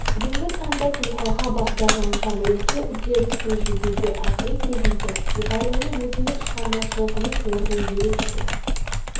бүгінгі таңда тұлғаға бағдарланған оқу үдерісін жүзеге асыру кезінде мұғалімнің өзіндік шығармашылығының орны ерекше